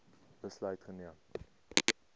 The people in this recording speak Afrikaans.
besluit geneem